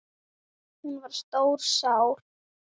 Hún var stór sál.